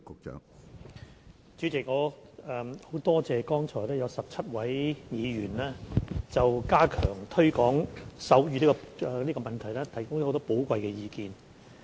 主席，我很感謝剛才有17位議員就加強推廣手語提供了很多寶貴意見。